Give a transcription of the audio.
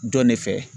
Dɔn ne fɛ